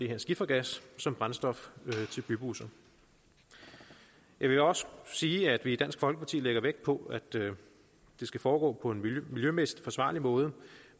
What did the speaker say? her skifergas som brændstof til bybusser jeg vil også sige at vi i dansk folkeparti lægger vægt på at det skal foregå på en miljømæssigt forsvarlig måde